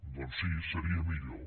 doncs sí seria millor